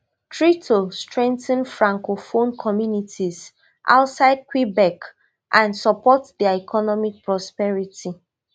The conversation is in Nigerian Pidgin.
three to strengthen francophone communities outside quebec and support dia economic prosperity